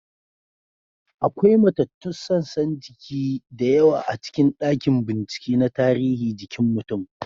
Akwai matattun sassan jiki da yawa a cikin dakin bincike na tarihi jikin mutum.